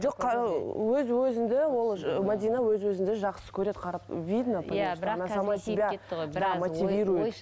жоқ ы өз өзіңді ол мәдина өз өзіңді жақсы көреді қарап видно